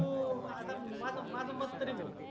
तु आता माझ माझ मत तरी भाऊ